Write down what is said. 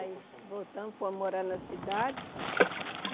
Aí voltamos, fomos morar na cidade.